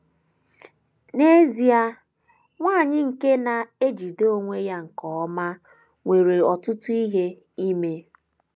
N’ezie, nwanyị nke na - ejide onwe ya nke ọma nwere ọtụtụ ihe ime.